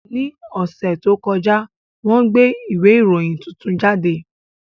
Ní ọ̀sẹ̀ tó kọjá, wọ́n gbé ìwé ìròyìn tuntun jáde